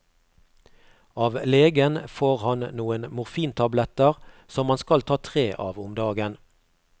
Av legen får han noen morfintabletter som han skal ta tre av om dagen.